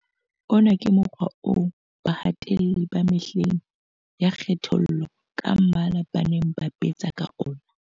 Ona ke mokgwa oo bahatelli ba mehleng ya kgethollo ka mmala ba neng ba sebetsa ka ona.